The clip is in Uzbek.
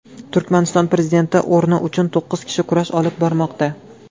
Turkmaniston prezidenti o‘rni uchun to‘qqiz kishi kurash olib bormoqda.